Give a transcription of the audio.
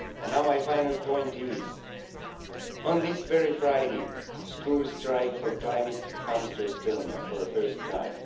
And now my final point is that, on this very Friday, the school strike for climate comes to Estonia for the first time.